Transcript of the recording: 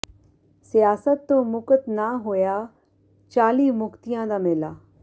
ਸਿਆਸਤ ਤੋਂ ਮੁਕਤ ਨਾ ਹੋਇਆ ਚਾਲੀ ਮੁਕਤਿਆਂ ਦਾ ਮੇਲਾ